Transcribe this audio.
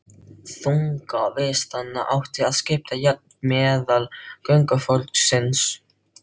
Þunga vistanna átti að skipta jafnt meðal göngufólksins.